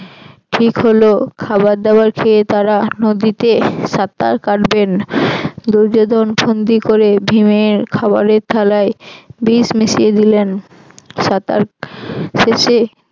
ঠিক হল খাবার দাবার খেয়ে তারা নদীতে সাঁতার কাটবেন দুর্যোধন ফন্দি করে ভীমের খাবারের থালায় বিষ মিশিয়ে দিলেন। সাঁতার শেষে